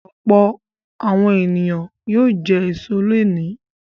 Ọ̀pọ̀ àwọn ènìyàn yóò jẹ èso lónìí.